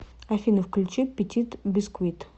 афина включи петит бисквит